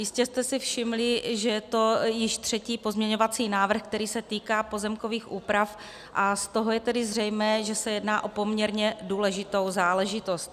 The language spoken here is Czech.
Jistě jste si všimli, že je to již třetí pozměňovací návrh, který se týká pozemkových úprav, a z toho je tedy zřejmé, že se jedná o poměrně důležitou záležitost.